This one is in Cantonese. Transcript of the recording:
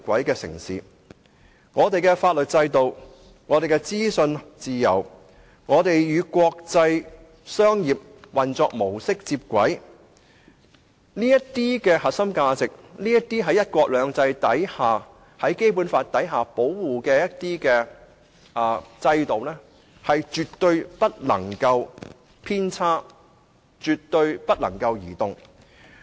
因此，我們的法律制度、資訊自由、與國際商業運作模式接軌這些優勢在"一國兩制"及《基本法》的保護下，絕不能有任何偏差，亦絕不能動搖。